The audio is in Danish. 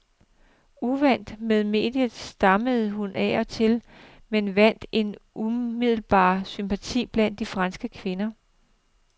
Uvant med mediet, stammede hun af og til men vandt en umiddelbar sympati blandt de franske kvinder.